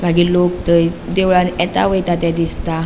मागिर लोक थंय देवळान येता वयता ते दिसता.